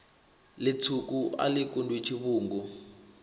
litswuka a li kundwi tshivhungu